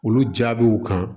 Olu jaabiw kan